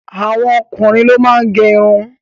Àwọn okunrin ló máa ń gẹ́ ìrún